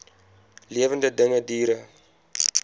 lewende dinge diere